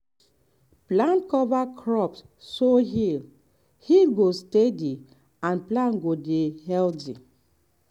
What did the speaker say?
plant cover crops so yield yield go steady and plant go dey healthy.